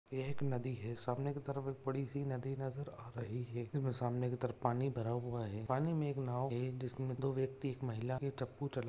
यह नदी है सामने की तरफ़ एक बड़ीसी नदी नज़र आ रही है सामने की तरफ पानी भरा हुआ है पानी मे एक नाव है जिसमे दो व्यक्ति एक महिला ये चप्पू चला--